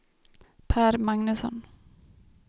Pär Magnusson